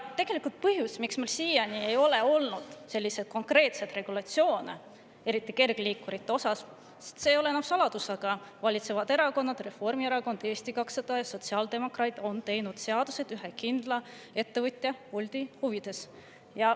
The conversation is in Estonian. Tegelik põhjus, miks meil siiani ei ole olnud selliseid konkreetseid regulatsioone, eriti kergliikurite kohta, on aga see – see ei ole enam saladus –, et valitsevad erakonnad, nagu Reformierakond, Eesti 200 ja sotsiaaldemokraadid, on teinud seaduseid ühe kindla ettevõtja, Bolti huvides.